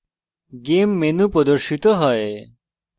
game menu game menu প্রদর্শিত হয়